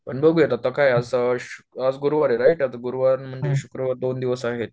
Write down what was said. पण बघूया आत्ता काय असं आज गुरुवार आहे राईट? आता गुरुवार मंग ते शुक्रवार असे दोन दिवस आहेत